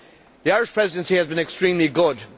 The Irish Presidency has been extremely good.